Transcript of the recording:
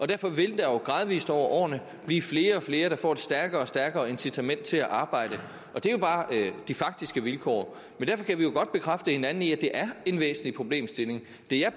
derfor vil der jo gradvis over årene blive flere og flere der får et stærkere og stærkere incitament til at arbejde og det er jo bare de faktiske vilkår men derfor kan vi jo godt bekræfte hinanden i at det er en væsentlig problemstilling det jeg